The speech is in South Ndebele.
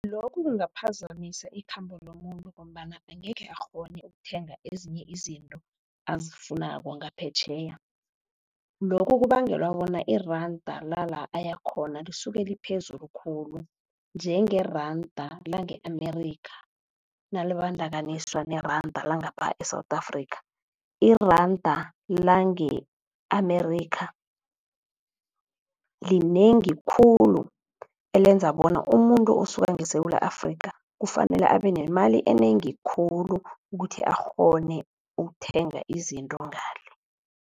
Lokhu kungaphazamisa ikhambo lomuntu, ngombana angekhe akghone ukuthenga ezinye izinto azifunako ngaphetjheya. Lokho kubangelwa bona iranda la la ayakhona, lisuke liphezulu khulu njengeranda lange-Amerika, nalibandakanyiswa neranda langapha e-South Africa. Iranda lange-Amerika linengi khulu, elenza bona umuntu osuka ngeSewula Afrika kufanele abe nemali enengi khulu ukuthi akghone ukuthenga izinto ngale.